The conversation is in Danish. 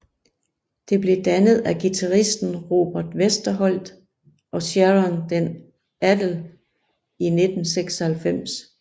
Det blev dannet af guitaristen Robert Westerholt og Sharon den Adel i 1996